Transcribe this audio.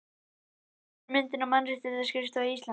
Fyrri myndin er af Mannréttindaskrifstofu Íslands.